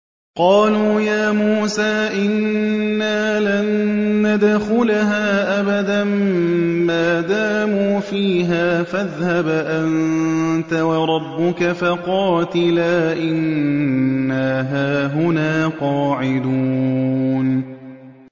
قَالُوا يَا مُوسَىٰ إِنَّا لَن نَّدْخُلَهَا أَبَدًا مَّا دَامُوا فِيهَا ۖ فَاذْهَبْ أَنتَ وَرَبُّكَ فَقَاتِلَا إِنَّا هَاهُنَا قَاعِدُونَ